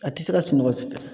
A ti se ka sunɔgɔ supɛ.